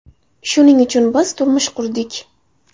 Shuning uchun biz turmush qurdik.